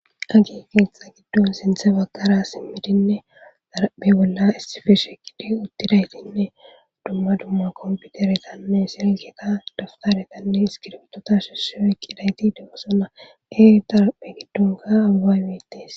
agi keexa giddon sinthe baggara simmidinne xaraphe bolla issife shekide uttidaytinne dumma dumma kompiuteretanne sirilketa daftadetanne iskiretota shesse eqqidayti degosona eer daraphe giddonka ababetes